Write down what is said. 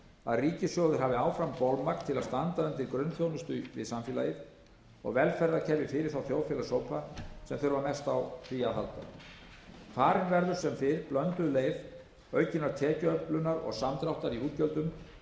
að ríkissjóður hafi áfram bolmagn til að standa undir grunnþjónustu við samfélagið og velferðarkerfi fyrir þá þjóðfélagshópa sem þurfa mest á því að halda farin verður sem fyrr blönduð leið aukinnar tekjuöflunar og samdráttar í útgjöldum